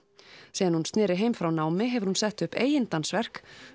síðan hún sneri heim frá námi hefur hún sett upp eigin dansverk